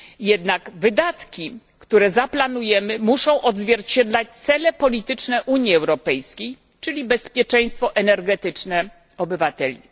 Jednak wydatki, które zaplanujemy, muszą odzwierciedlać cele polityczne Unii Europejskiej, czyli bezpieczeństwo energetyczne obywateli.